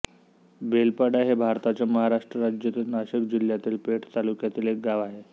बेलपाडा हे भारताच्या महाराष्ट्र राज्यातील नाशिक जिल्ह्यातील पेठ तालुक्यातील एक गाव आहे